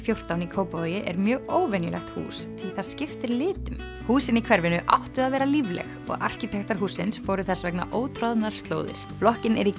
fjórtán í Kópavogi er mjög óvenjulegt hús því það skiptir litum húsin í hverfinu áttu að vera lífleg og arkitektar hússins fóru þess vegna ótroðnar slóðir blokkin er í